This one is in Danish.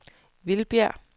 Vildbjerg